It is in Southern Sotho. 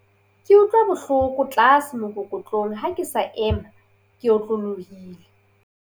Ke utlwa bohloko tlase mookokotlong ha ke sa ema ke otlolohile.